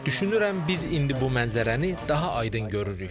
Düşünürəm biz indi bu mənzərəni daha aydın görürük.